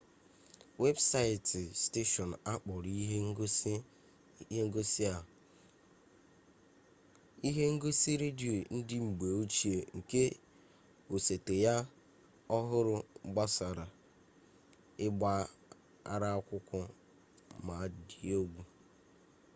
webụsaịtị steshọn a kpọrọ ihe ngosi a ihe ngosi redio ndị mgbe ochie nke osote ya ọhụrụ gbasara ịgba ara akwụkwọ ma dị egwu